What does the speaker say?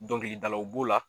Dɔnkilidalaw b'o la.